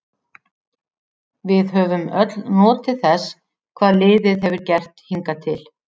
Við höfum öll notið þess hvað liðið hefur gert hingað til.